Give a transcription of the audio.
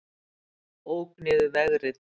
Ók niður vegrið